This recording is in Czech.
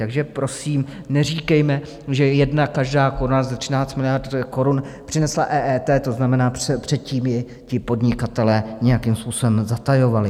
Takže prosím neříkejme, že jedna každá koruna ze 13 miliard korun přinesla EET, to znamená, předtím ji ti podnikatelé nějakým způsobem zatajovali.